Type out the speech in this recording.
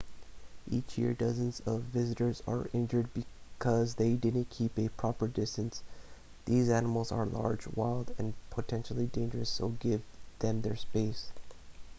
each year dozens of visitors are injured because they didn't keep a proper distance these animals are large wild and potentially dangerous so give them their space